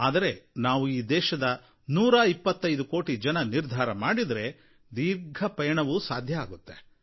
ಆದರೆ ನಾವು ಈ ದೇಶದ ನೂರಾಇಪ್ಪತ್ತೈದು ಕೋಟಿ ಜನ ನಿರ್ಧಾರ ಮಾಡಿದರೆ ದೀರ್ಘ ಪಯಣವೂ ಸಾಧ್ಯವಾಗುತ್ತೆ